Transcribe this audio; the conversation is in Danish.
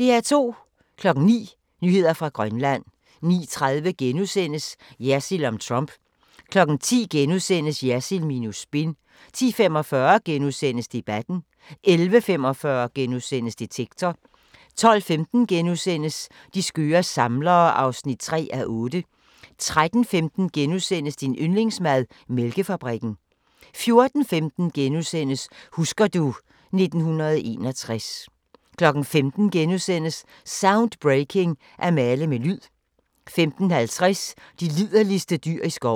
09:00: Nyheder fra Grønland 09:30: Jersild om Trump * 10:00: Jersild minus spin * 10:45: Debatten * 11:45: Detektor * 12:15: De skøre samlere (3:8)* 13:15: Din yndlingsmad: Mælkefabrikken * 14:15: Husker du ... 1961 * 15:00: Soundbreaking – At male med lyd * 15:50: De liderligste dyr i skoven